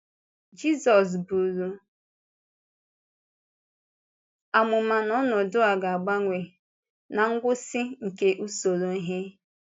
Jizọs bụ̀rụ amụma na ọnọdụ a ga-agbanwe “ná ngwụsị nke usoro ihe.”